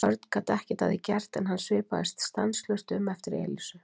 Örn gat ekkert að því gert en hann svipaðist stanslaust um eftir Elísu.